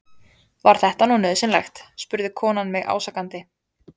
Var þetta nú nauðsynlegt? spurði konan mig ásakandi.